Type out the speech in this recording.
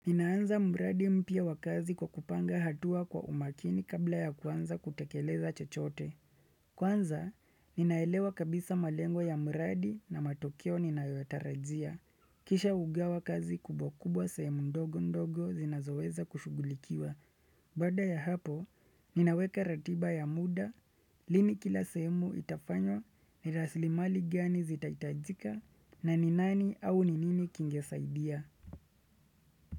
Ninaanza mradi mpya wakazi kwa kupanga hatua kwa umakini kabla ya kuanza kutekeleza chochote. Kwanza, ninaelewa kabisa malengo ya mradi na matokeo ninayotarajia. Kisha ugawa kazi kubwa kubwa sehemu ndogo ndogo zinazoweza kushugulikiwa. Baada ya hapo, ninaweka ratiba ya muda, lini kila sehemu itafanywa, niraslimali gani zitaitajika, na ninani au ninini kingesaidia.